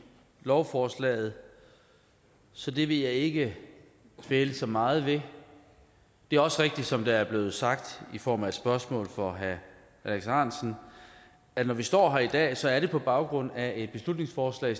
lovforslaget så det vil jeg ikke dvæle så meget ved det er også rigtigt som der er blevet sagt i form af et spørgsmål fra herre alex ahrendtsen at når vi står her i dag så er det på baggrund af et beslutningsforslag